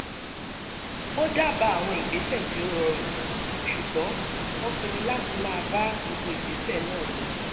ó dábàá àwọn ìgbésẹ̀ tí ó rọrùn ṣùgbọ́n wọ́n pinnu láti máa bá gbogbo ìgbésẹ̀ náà lọ